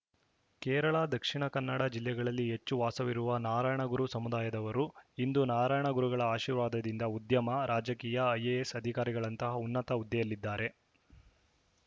ಕೇರಳ ದಕ್ಷಿಣ ಕನ್ನಡ ಜಿಲ್ಲೆಗಳಲ್ಲಿ ಹೆಚ್ಚು ವಾಸವಾಗಿರುವ ನಾರಾಯಣಗುರು ಸಮುದಾಯದವರು ಇಂದು ನಾರಾಯಣ ಗುರುಗಳ ಆಶೀರ್ವಾದದಿಂದ ಉದ್ಯಮ ರಾಜಕೀಯ ಐಎಎಸ್‌ ಅಧಿಕಾರಿಗಳಂತಹ ಉನ್ನತ ಹುದ್ದೆಯಲ್ಲಿದ್ದಾರೆ